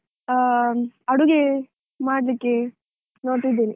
ಆ~ ಅಡುಗೆ ಮಾಡಲಿಕ್ಕೆ, ನೋಡ್ತಾ ಇದ್ದೇನೆ.